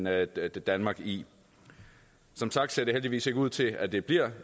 at sætte danmark i som sagt ser det heldigvis ikke ud til at det bliver